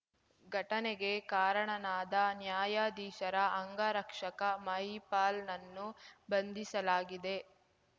ಘಟನೆಗೆ ಕಾರಣನಾದ ನ್ಯಾಯಾಧೀಶರ ಅಂಗರಕ್ಷಕ ಮಹಿಪಾಲ್‌ನನ್ನು ಬಂಧಿಸಲಾಗಿದೆ